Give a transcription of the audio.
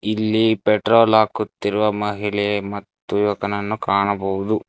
ಇಲ್ಲಿ ಪೆಟ್ರೋಲ್ ಹಾಕುತ್ತಿರುವ ಮಹಿಳೆ ಮತ್ತು ಯುವಕನನ್ನು ಕಾಣಬಹುದು.